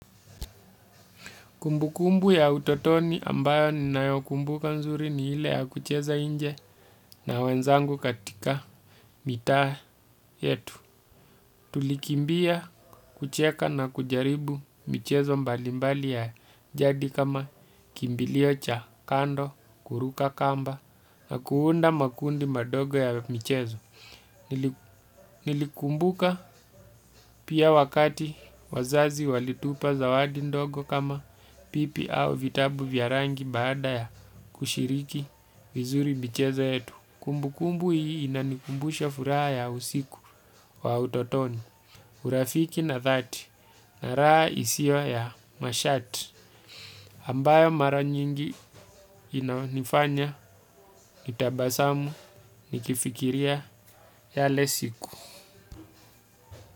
Kumbu kumbu ya utotoni ambayo ninayo kumbuka nzuri, ni ile ya kucheza nje na wenzangu katika mitaa yetu. Tulikimbia kucheka na kujaribu mchezo mbali mbali ya jadi kama, kimbilio cha kando, kuruka kamba, na kuunda makundi madogo ya mchezo. Nilikumbuka pia wakati wazazi walitupa zawadi ndogo kama, pipi au vitabu vya rangi baada ya kushiriki vizuri michezo yetu. Kumbu kumbu hii inanikumbusha furaha ya usiku wa utotoni. Urafiki na dhati na raha isiyo ya masharti. Ambayo mara nyingi inayo nifanya nitabasamu nikifikiria yale siku.